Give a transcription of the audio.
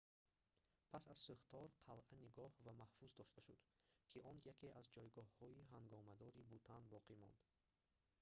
пас аз сӯхтор қалъа нигоҳ ва маҳфуз дошта шуд ки он яке аз ҷойгоҳҳои ҳангомадори бутан боқӣ монд